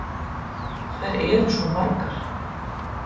Þær eru svo margar.